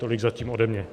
Tolik zatím ode mě.